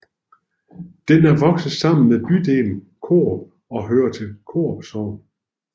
Den er vokset sammen med bydelen Korup og hører til Korup Sogn